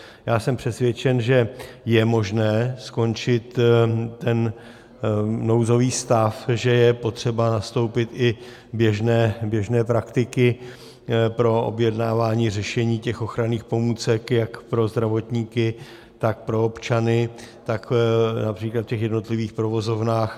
Já jsem přesvědčen, že je možné skončit ten nouzový stav, že je potřeba nastoupit i běžné praktiky pro objednávání řešení těch ochranných pomůcek jak pro zdravotníky, tak pro občany, tak například v těch jednotlivých provozovnách.